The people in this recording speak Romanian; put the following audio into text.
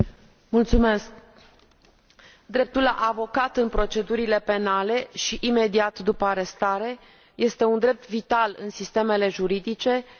Dreptul la un avocat în procedurile penale și imediat după arestare este un drept vital în sistemele juridice care asigură procese corecte.